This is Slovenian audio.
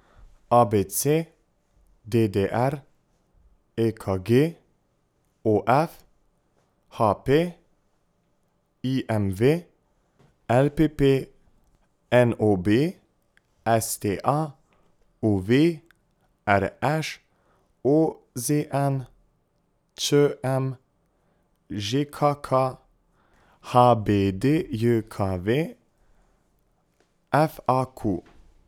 A B C; D D R; E K G; O F; H P; I M V; L P P; N O B; S T A; U V; R Š; O Z N; Č M; Ž K K; H B D J K V; F A Q.